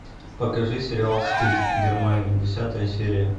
покажи сериал стыд германия десятая серия